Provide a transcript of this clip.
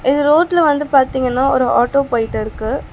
இது ரோட்ல வந்து பாத்தீங்கன்னா ஒரு ஆட்டோ போயிட்டு இருக்கு.